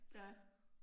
Ja